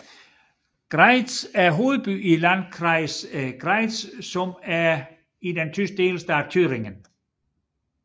Greiz er hovedby i Landkreis Greiz den tyske delstat Thüringen